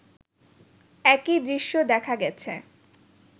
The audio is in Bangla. একই দৃশ্য দেখা গেছে